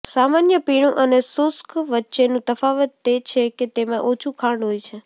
સામાન્ય પીણું અને શુષ્ક વચ્ચેનું તફાવત તે છે કે તેમાં ઓછું ખાંડ હોય છે